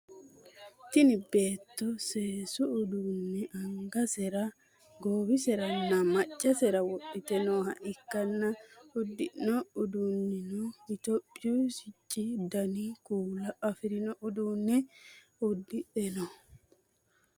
Tinni beetto seesu uduunne angasera, goiwiseranna macasera wodhite nooha ikanna udidhino uduunnino itophiyu sici danni kuula afirinno uduune udidhe no.